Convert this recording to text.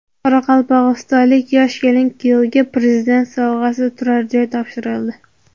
Qoraqalpog‘istonlik yosh kelin-kuyovga Prezident sovg‘asi turar joy topshirildi.